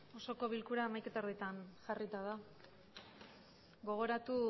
osoko bilkura hamaikahogeita hamaretan jarrita da gogoratu